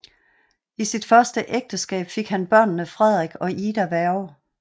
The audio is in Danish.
I sit første ægteskab fik han børnene Frederik og Ida Werge